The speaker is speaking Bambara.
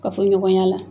Kafoɲɔgɔnya la